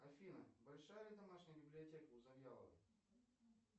афина большая ли домашняя библиотека у завьяловой